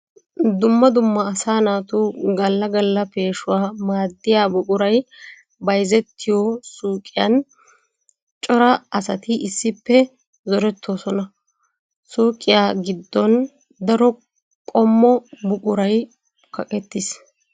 Dumma dumma asaa naatu gala gala peeshawu maadiya buquray bayzzettiyo suyqqiyan cora asatti issippe zorettosonna. Suyqqiya giddon daro qommo buquray kaqqetis.